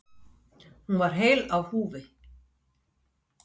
Hún var heil á húfi.